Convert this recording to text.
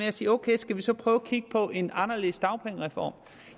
at sige ok skal vi så prøve at kigge på en anderledes dagpengereform